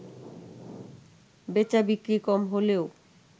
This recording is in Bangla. বেচাবিক্রি কম হলেও